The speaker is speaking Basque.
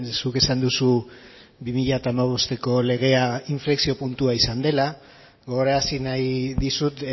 zuk esan duzu bi mila hamabosteko legea inflexio puntua izan dela gogorarazi nahi dizut